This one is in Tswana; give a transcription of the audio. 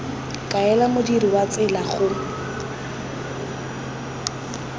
kaela modirisi wa tsela go